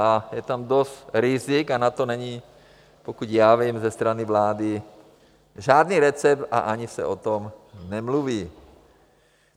A je tam dost rizik a na to není, pokud já vím, ze strany vlády žádný recept a ani se o tom nemluví.